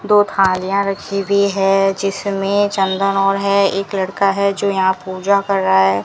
दो थालियां रखी हुई है जिसमें चंदन और है एक लड़का है जो यहां पूजा कर रहा है।